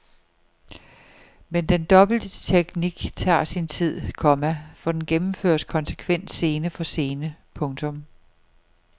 Men den dobbelte teknik tager sin tid, komma for den gennemføres konsekvent scene for scene. punktum